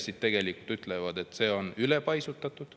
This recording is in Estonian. Spetsialistid ütlevad, et see on ülepaisutatud.